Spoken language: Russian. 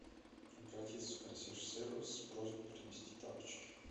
обратиться в консьерж сервис с просьбой принести тапочки